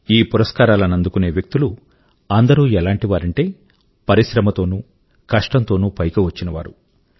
ఈ పురస్కారాల ను అందుకునే వ్యక్తులు అందరూ ఎలాంటివారంటే పరిశ్రమ తోనూ కష్టం తో పైకి వచ్చినవారు